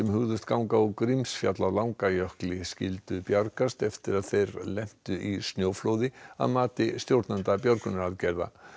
hugðust ganga á Grímsfjall á skyldu bjargast eftir að þeir lentu í snjóflóði að mati stjórnanda björgunaraðgerða